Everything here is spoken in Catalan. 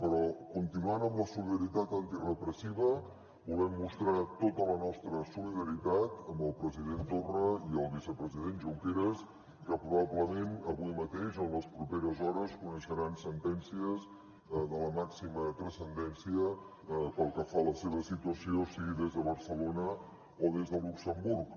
però continuant amb la solidaritat antirepressiva volem mostrar tota la nostra solidaritat amb el president torra i el vicepresident junqueras que probablement avui mateix o en les properes hores coneixeran sentències de la màxima transcendència pel que fa a la seva situació sigui des de barcelona o des de luxemburg